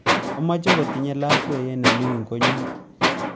Amache kotinye labkeiyet nemining koonyu